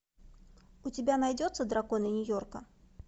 у тебя найдется драконы нью йорка